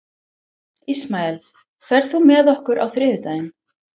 Ismael, ferð þú með okkur á þriðjudaginn?